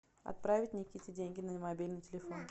отправить никите деньги на мобильный телефон